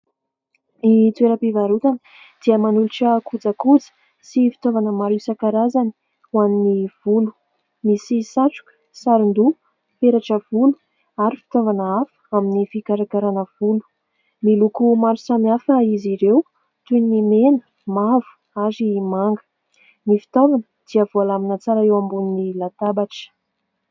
Ny toeram-pivarotana dia manolotra kojakoja sy fitaovana maro isankarazany ho an'ny volo : misy satroka, saron- doha, peratra volo ary fitaovana hafa amin'ny fikarakarana volo. Miloko maro samihafa izy ireo toy ny mena, mavo ary manga. Ny fitaovana dia voalamina tsara eo ambonin'ny latabatra.